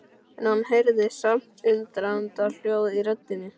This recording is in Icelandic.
En hann heyrði samt undrunarhljóð í röddinni.